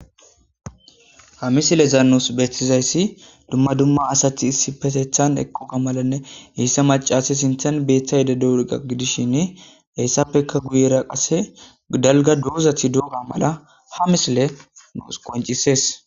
hamisile zaanos bethtizayssi dumma dumma asathi issi petethan eqquga malanne heyssa macasi sinthen beeththa yede douriqa gidishin heyssappekka guyera qase dalga doozath doga mala ha misile nuus qoncisees